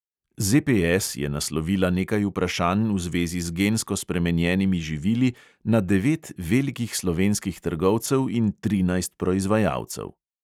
ZPS je naslovila nekaj vprašanj v zvezi z gensko spremenjenimi živili na devet velikih slovenskih trgovcev in trinajst proizvajalcev.